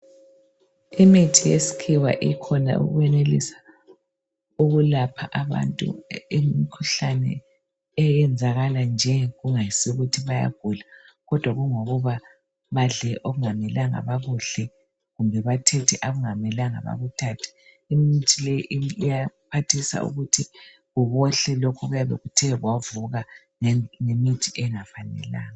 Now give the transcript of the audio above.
Imithi yeskhiwa ikhona ukwenelisa ukulapha abantu imkhuhlane eyenzakala nje kungayisikho ukuthi bayagula. kodwa kungokuba badle okungamelanga bakudle. Kumbe bathethe okungamelanga bekuthathe. Imithi le iyaphathisa ukuthi kubohle lokho okuyabe kuthe kwavuka ngemithi engafanelanga.